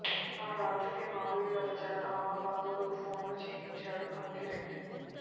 ఆ రాత్రికే మాధవీలత చేత ఆమె బంధువులకి ఫోన్లు చేయించాడు అంకిరెడ్డి